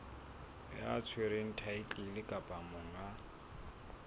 ya tshwereng thaetlele kapa monga